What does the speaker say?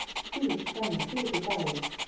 Hvílík spenna, hvílíkur dagur!